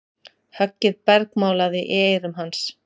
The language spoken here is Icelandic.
Höggið bergmálaði í eyrum hans.